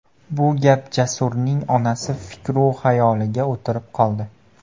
Bu gap Jasurning onasi fikru-xayoliga o‘tirib qoldi.